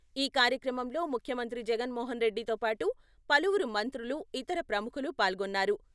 ఈ కార్యక్రమంలో ముఖ్యమంత్రి జగన్మోహన్ రెడ్డితో పాటు పలువురు మంత్రులు, ఇతర ప్రముఖులు పాల్గొన్నారు.